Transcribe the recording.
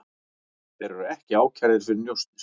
Þeir eru ekki ákærðir fyrir njósnir